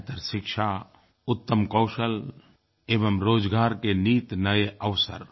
बेहतर शिक्षा उत्तम कौशल एवं रोज़गार के नित्य नए अवसर